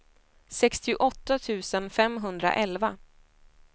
sextioåtta tusen femhundraelva